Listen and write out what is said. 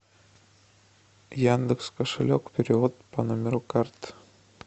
яндекс кошелек перевод по номеру карты